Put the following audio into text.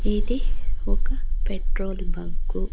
ఇది ఒక petrol bunk .